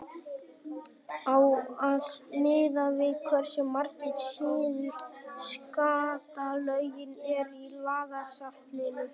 á að miða við hversu margar síður skattalögin eru í lagasafninu